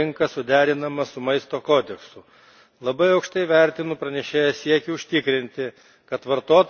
Labai aukštai vertinu pranešėjo siekį užtikrinti, kad vartotojai būtų tinkamai informuojami apie maistą.